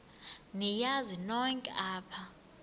niyazi nonk apha